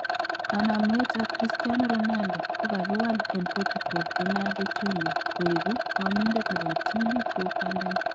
Kanamweet ab Christiano Ronaldo kokakiwaal en Portugal Ronaldo Jr koekuu ng'omindet nebo kiptuliit kou kwandanyin